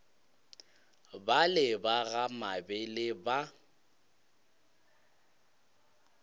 bale ba ga mabele ba